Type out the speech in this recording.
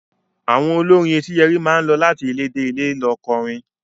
Àwọn olórin Etíyẹrí máa lọ láti ilé dé ilé lọ kọrin.